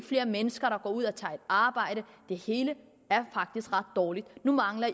flere mennesker der går ud og tager et arbejde det hele er faktisk ret dårligt nu mangler